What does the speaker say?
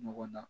Ɲɔgɔn na